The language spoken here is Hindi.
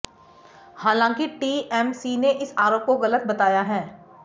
हालांकि टीएमसी ने इस आरोप को गलत बताया है